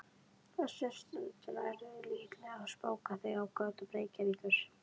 Þessa stundina ertu líklega að spóka þig á götum Reykjavíkur.